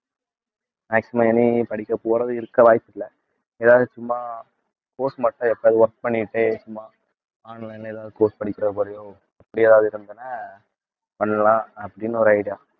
maximum இனி படிக்க போறது இருக்க வாய்ப்பில்ல ஏதாவது சும்மா course மட்டும் work பண்ணிட்டு சும்மா online ல எதாவது course படிக்கற மாதிரியோ பண்ணலாம் அப்படின்னு ஒரு idea